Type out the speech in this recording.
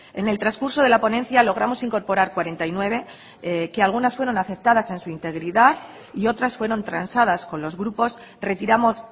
en el transcurso de la ponencia logramos incorporar cuarenta y nueve que algunas fueron aceptadas en su integridad y otras fueron transadas con los grupos retiramos